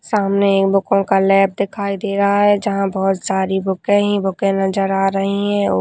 सामने ही बुको का लैब दिखाई दे रहा है जहाँ बहुत सारी बुके ही बुके नज़र आ रही है और --